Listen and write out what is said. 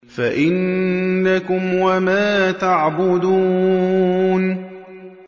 فَإِنَّكُمْ وَمَا تَعْبُدُونَ